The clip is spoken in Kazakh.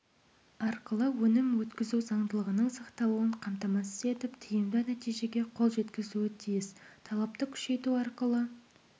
арқылы өнім өткізу заңдылығының сақталуын қамтамасыз етіп тиімді нәтижеге қол жеткізуі тиіс талапты күшейту арқылы